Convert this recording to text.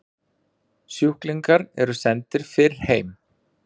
Sjúklingar eru sendir fyrr heim